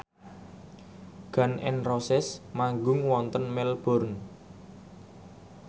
Gun n Roses manggung wonten Melbourne